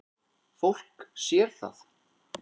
Fólk sér það.